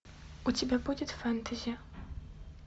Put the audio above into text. у тебя будет фэнтези